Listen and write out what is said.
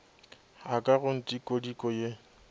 a ka go ntikodiko ye